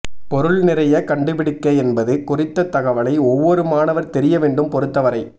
பொருள் நிறைய கண்டுபிடிக்க என்பது குறித்த தகவலை ஒவ்வொரு மாணவர் தெரிய வேண்டும் பொறுத்தவரை